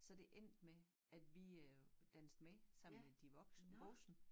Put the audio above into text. Så det endte med at vi øh dansede med sammen med de voksne voksne